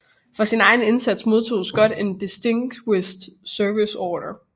For sin egen indsats modtog Scott en Distinguished Service Order